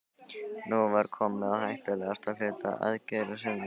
Nú var komið að hættulegasta hluta aðgerðarinnar.